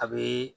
A bɛ